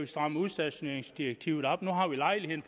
stramme udstationeringsdirektivet op nu har vi lejligheden